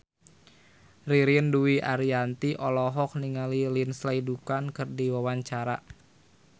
Ririn Dwi Ariyanti olohok ningali Lindsay Ducan keur diwawancara